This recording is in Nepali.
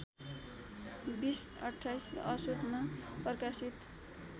२०२८ असोजमा प्रकाशित